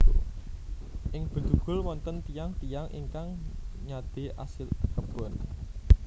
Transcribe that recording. Ing Bedugul wonten tiyang tiyang ingkang nyadé asil kebon